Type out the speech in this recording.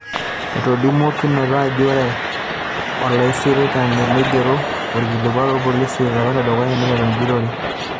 Etolimuo Kinoto ajo ore olaisitaarani neigero olkilikua olpolisi to lapa le dukuya neiteru ejurore.